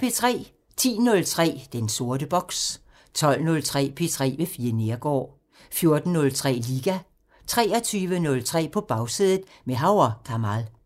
10:03: Den sorte boks 12:03: P3 med Fie Neergaard 14:03: Liga 23:03: På Bagsædet – med Hav & Kamal